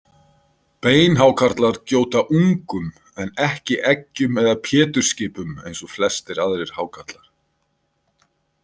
Beinhákarlar gjóta ungum en ekki eggjum eða pétursskipum eins og flestir aðrir hákarlar.